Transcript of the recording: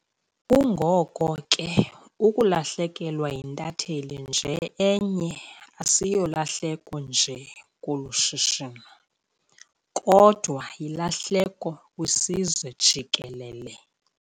Kungoko ke ukulahlekelwa yintatheli nje enye asiyolahleko nje kolu shishino kodwa yilahleko kwisizwe jikelele.